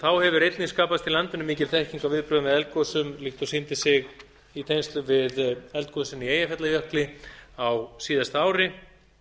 þá hefur einnig skapast í landinu mikil þekking á viðbrögðum við eldgosum líkt og sýndi sig í tengslum við eldgosin í eyjafjallajökli á síðasta ári